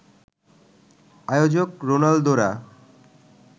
আয়োজক রোনালদোরা